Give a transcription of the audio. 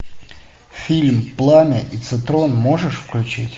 фильм пламя и цитрон можешь включить